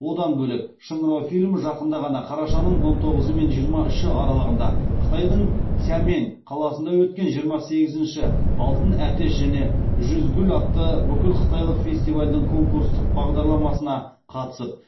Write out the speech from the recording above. одан бөлек шыңырау фильмі жақында ғана қарашаның он тоғызы мен жиырма үші аралығында қытайдың сямэнь қаласында өткен жиырма сегізінші алтын әтеш және жүз гүл атты бүкіл қытайлық фестивальдің конкурстық бағдарламасына қатысып